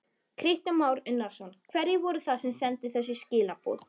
Kristján Már Unnarsson: Hverjir voru það sem sendu þessi skilaboð?